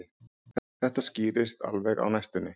Þetta skýrist alveg á næstunni